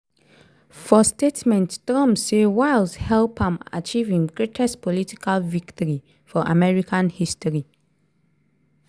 for statement trump say wiles help am achieve im greatest political victory for american history.